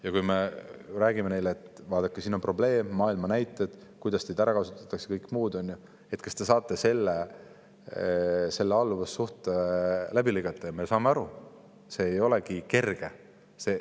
Ja kui me räägime neile: "Vaadake, siin on probleem, maailma näited, kuidas teid ära kasutatakse, ja kõik muud asjad, et kas te saate selle alluvussuhte läbi lõigata," siis me saame aru, et see ei olegi kerge.